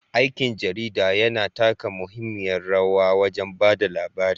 Aikin jarida yana taka muhimmiyar rawa wajen ba da labari.